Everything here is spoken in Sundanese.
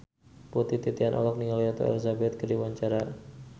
Putri Titian olohok ningali Ratu Elizabeth keur diwawancara